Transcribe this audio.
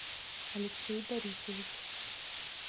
алексей борисович